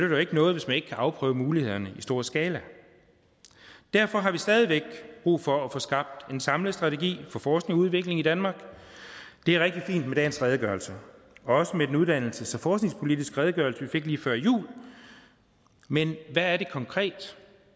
jo ikke noget hvis man ikke kan afprøve mulighederne i stor skala derfor har vi stadig væk brug for at få skabt en samlet strategi for forskning og udvikling i danmark det er rigtig fint med dagens redegørelse og også med den uddannelses og forskningspolitiske redegørelse vi fik lige før jul men hvad er det konkret